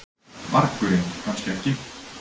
vargurinn, kannski ekki.